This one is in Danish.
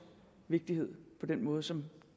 vigtighed på den måde som